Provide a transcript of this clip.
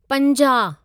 पंंजाह